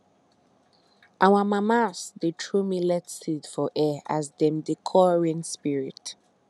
our mamas dey throw millet seed for air as dem dey call rain spirit